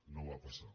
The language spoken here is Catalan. no va passar